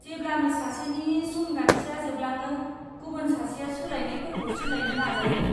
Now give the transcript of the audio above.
जेब्लानो सासेनि समगान्थिया जोबलाङो, गुबुन सासेआ सोलायनायफोरखौ सोलायनो नाजायो।